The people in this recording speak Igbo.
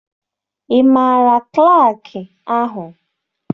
Ị maara klaakị ahụ?